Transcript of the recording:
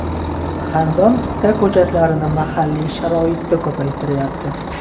Xandon pista ko‘chatlarini mahalliy sharoitda ko‘paytiryapti.